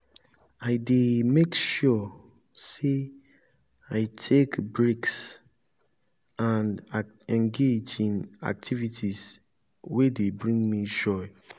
i dey make sure say i take breaks and engage in activities wey dey bring me joy.